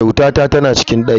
Kyautata tana cikin daki.